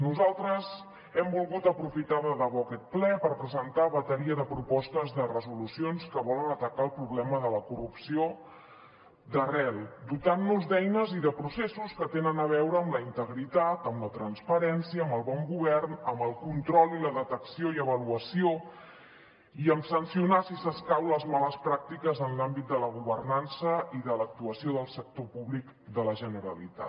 nosaltres hem volgut aprofitar de debò aquest ple per presentar una bateria de propostes de resolucions que volen atacar el problema de la corrupció d’arrel dotant nos d’eines i de processos que tenen a veure amb la integritat amb la transparència amb el bon govern amb el control i la detecció i avaluació i amb sancionar si escau les males pràctiques en l’àmbit de la governança i de l’actuació del sector públic de la generalitat